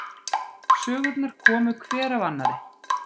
Sögurnar komu hver af annarri.